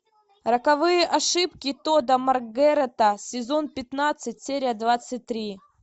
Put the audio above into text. роковые ошибки тодда маргарета сезон пятнадцать серия двадцать три